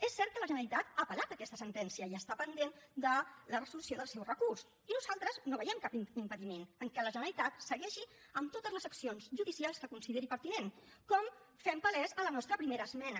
és cert que la generalitat ha apel·lat aquesta sentència i està pendent de la resolució del seu recurs i nosaltres no veiem cap impediment que la generalitat segueixi amb totes les accions judicials que consideri pertinents com fem palès a la nostra primera esmena